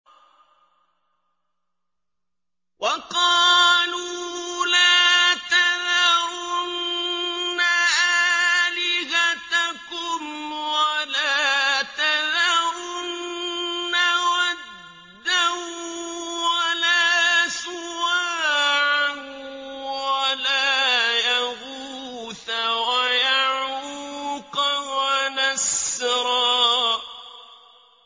وَقَالُوا لَا تَذَرُنَّ آلِهَتَكُمْ وَلَا تَذَرُنَّ وَدًّا وَلَا سُوَاعًا وَلَا يَغُوثَ وَيَعُوقَ وَنَسْرًا